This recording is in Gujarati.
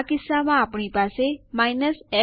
આ ટાઇપ કરી ચકાસો